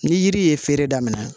Ni yiri ye feere daminɛ